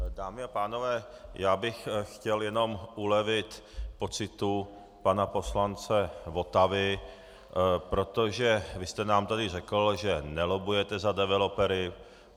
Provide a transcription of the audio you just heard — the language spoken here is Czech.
Dámy a pánové, já bych chtěl jenom ulevit pocitu pana poslance Votavy, protože vy jste nám tady řekl, že nelobbujete za developery.